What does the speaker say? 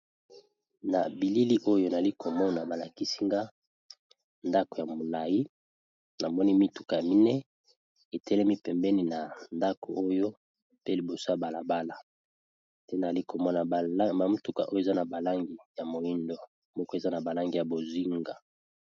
Na bilili oyo nali komona balakisi nga ndaku ya molai, namoni mituka ya mine etelemi pembeni ya ndaku oyo pe liboso balabala nali komona ba mituka oyo eza na balangi ya moindo moko eza na langi ya bozinga.